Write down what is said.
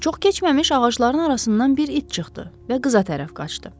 Çox keçməmiş ağacların arasından bir it çıxdı və qıza tərəf qaçdı.